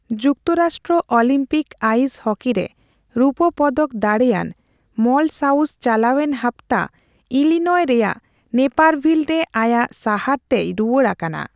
ᱡᱩᱠᱛᱚᱨᱟᱥᱴᱨᱚ Olympic ice ᱦᱚᱠᱤᱨᱮ ᱨᱩᱯᱟᱹ ᱯᱚᱫᱚᱠ ᱫᱟᱲᱮᱭᱟᱱ ᱢᱚᱞᱚ ᱥᱟᱣᱩᱥ ᱪᱟᱞᱟᱣᱮᱱ ᱦᱟᱯᱛᱟ ᱤᱞᱤᱱᱚᱭ ᱨᱮᱭᱟᱜ ᱱᱮᱯᱟᱨᱵᱷᱤᱞ ᱨᱮ ᱟᱭᱟᱜ ᱥᱟᱦᱟᱨ ᱛᱮᱭ ᱨᱩᱣᱟᱹᱲ ᱟᱠᱟᱱᱟ ᱾